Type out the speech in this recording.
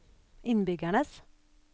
innbyggernes